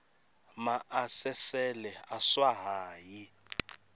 maasesele a swa ha yi